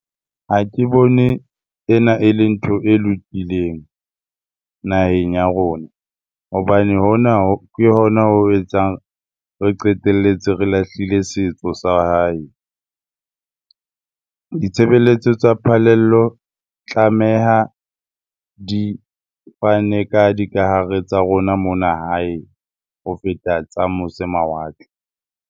Ha ke bone ena e le ntho e lokileng naheng ya rona hobane hona ke hona ho etsang re qeteletse re lahlile setso sa hae. Ditshebeletso tsa phallelo tlameha di fane ka dikahare tsa rona mona hae ho feta tsa mose mawatle.